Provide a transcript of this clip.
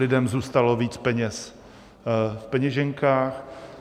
Lidem zůstalo víc peněz v peněženkách.